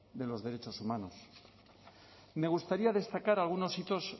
de los derechos humanos me gustaría destacar algunos hitos